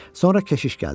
Sonra keşiş gəldi.